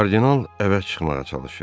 Kardinal əvəz çıxmağa çalışır.